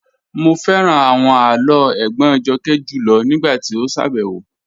Mo fẹ́ran awọn àlọ́ ègbón Jọ́kẹ́ júlọ̀ nígbàtí o ṣábẹwo